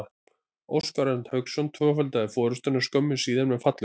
Óskar Örn Hauksson tvöfaldaði forystuna skömmu síðar með fallegu marki.